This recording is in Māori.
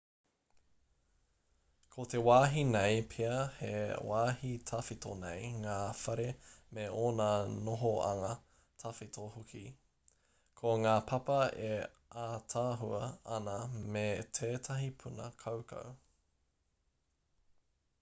ko te wāhi nei pea he wāhi tawhito nei ngā whare me ōna nohoanga tawhito hoki ko ngā papa e ātaahua ana me tētahi puna kaukau